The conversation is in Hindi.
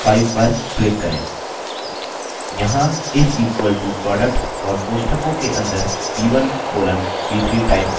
यहाँ is equal to product और कोष्ठकों के अंदर b1 colon b3 type करें